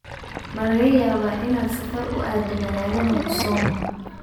Malaqayabaya inaad safar uuaado magalada Musoma?